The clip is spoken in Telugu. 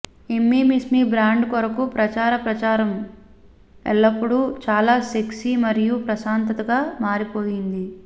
ఇమ్మీమిస్సిమీ బ్రాండ్ కొరకు ప్రచార ప్రచారం ఎల్లప్పుడూ చాలా సెక్సీ మరియు ప్రశాంతతగా మారిపోయింది